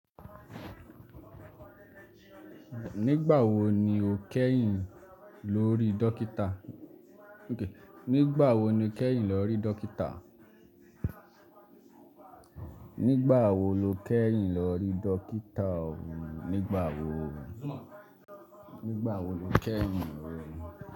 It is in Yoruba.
Nígbà wo ni o kẹ́yìn lórí dókítà? Nígbà wo ló keyìn lórí dókítà? Nígbà wo? Nígbà wo lo kẹ́yìn lórí?